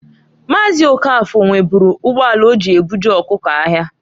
Maazị Okafor nweburu ugboala oji ebuje ọkụko̻ ahịa.